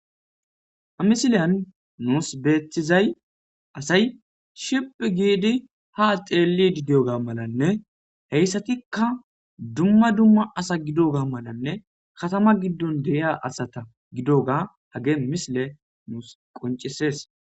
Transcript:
Hamisileyan nuus beethizay asay ship giidi ha xeelli dideoga malanne heyssatikka dumma dumma asa gidoga malanne katama giddon de'ia asata gidoga hage misile nuus qoncisees.